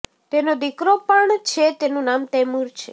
તેનો દીકરો પણ છે તેનું નામ તૈમુર છે